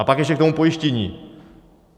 A pak ještě k tomu pojištění.